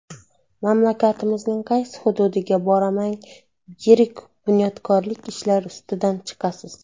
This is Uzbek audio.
Mamlakatimizning qaysi hududiga bormang yirik bunyodkorlik ishlari ustidan chiqasiz.